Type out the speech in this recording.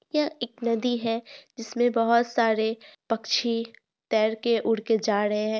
यह एक नदी है जिसमें बहुत सारे पक्षी तैर के उड़ के जा ड़हे हैं।